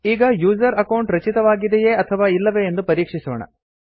ಈಗ user account ರಚಿತವಾಗಿದೆಯೇ ಅಥವಾ ಇಲ್ಲವೇ ಎಂದು ಪರೀಕ್ಷಿಸೋಣ